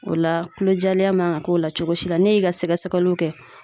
O la kulojalenya man ga k'o la cogo si la ne y'i ka sɛgɛsɛgɛliw kɛ